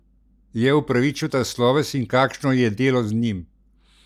Je upravičil ta sloves in kakšno je delo z njim?